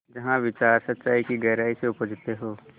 जहाँ विचार सच्चाई की गहराई से उपजतें हों